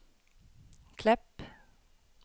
Klepp